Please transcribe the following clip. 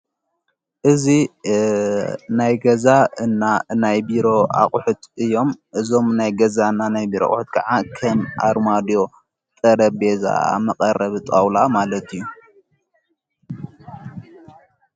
እዝ ናይ ገዛ እና እናይ ቢሮ ኣቝሑት እዮም እዞም ናይ ገዛ እና ናይ ብር ኣቝሑት ከዓ ከን ኣርማድ ጠረቤዛ ብመቐረብ ጣውላ ማለት እዩ።